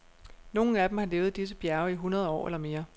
Nogle af dem har levet i disse bjerge i hundrede år eller mere.